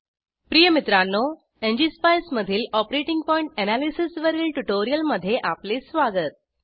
प्रिय मित्रांनो एनजीएसपाईस मधील ऑपरेटिंग पॉइंट एनालिसिस वरील ट्यूटोरियलमध्ये आपले स्वागत